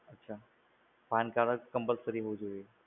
અચ્છા, pan card જ compulsory હોવું જોઈએ?